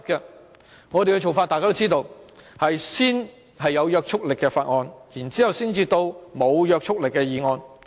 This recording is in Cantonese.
大家都知道，我們的做法，是先審議有約束力的法案，然後才審議沒約束力的議案。